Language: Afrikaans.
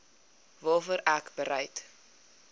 waarvoor ek bereid